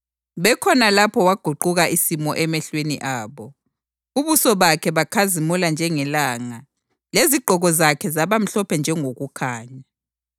Bekhona lapho waguquka isimo emehlweni abo. Ubuso bakhe bakhazimula njengelanga lezigqoko zakhe zaba mhlophe njengokukhanya.